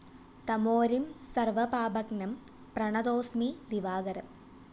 തമോരിം സര്‍വപാപഘ്‌നം പ്രണതോസ്മി ദിവാകരം!!